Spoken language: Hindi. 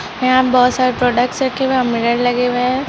यहा बहुत सारे प्रोडक्ट्स रखे हुए हैं और मिरर लगे हुए है।